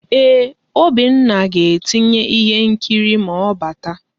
Eeh, Obinna ga-etinye ihe nkiri ma ọ bata.